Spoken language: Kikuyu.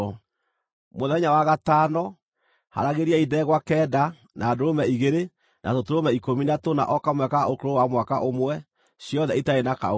“ ‘Mũthenya wa gatano, haaragĩriai ndegwa kenda, na ndũrũme igĩrĩ, na tũtũrũme ikũmi na tũna o kamwe ka ũkũrũ wa mwaka ũmwe, ciothe itarĩ na kaũũgũ.